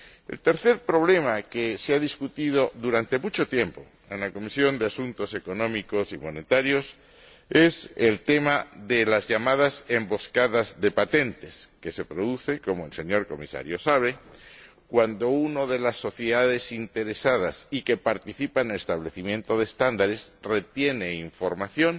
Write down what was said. El tercer problema que se ha debatido durante mucho tiempo en la Comisión de Asuntos Económicos y Monetarios es el tema de las llamadas emboscadas de patentes que se producen, como el señor Comisario sabe, cuando una de las sociedades interesadas que participa en el establecimiento de estándares retiene información